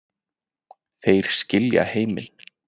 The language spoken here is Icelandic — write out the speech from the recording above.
Þeir skilja heiminn